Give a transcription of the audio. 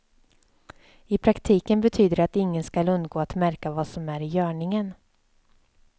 I praktiken betyder det att ingen skall undgå att märka vad som är i görningen.